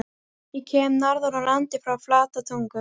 Ég kem norðan úr landi- frá Flatatungu.